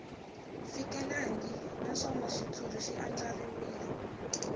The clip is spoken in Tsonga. fikelelangi naswona xitshuriwa xi andlariwile